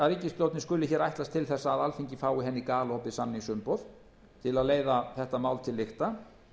að ríkisstjórnin skuli ætlast til þess að alþingi fái henni galopið samningsumboð til að leiða þetta mál til lykta